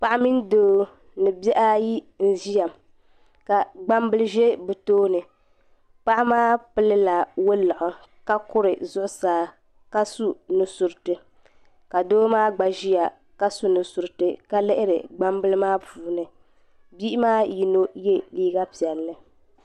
paɣa mini doo ni bihi ayi n-ʒiya ka gbambili ʒe bɛ tooni paɣa maa pili la waliɣu ka kuri zuɣusaa ka su nu' suriti ka doo maa gba ʒiya ka su nu' suriti ka lihiri gbambila maa puuni bihi maa yino ye liiga piɛlli.